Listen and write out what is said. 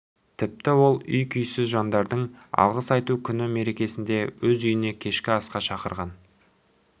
тіпті ол үй-күйсіз жандарды алғыс айту күні мерекесінде өз үйіне кешкі асқа да шақырған